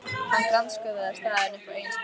Hann grandskoðaði staðinn upp á eigin spýtur.